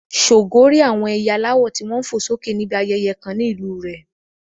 Ṣògo rí àwọn ẹyẹ aláwọ̀ tí wọ́n ń fò sókè níbi ayẹyẹ kan ní ìlú rẹ̀.